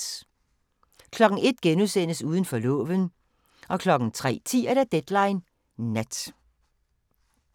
01:00: Uden for loven * 03:10: Deadline Nat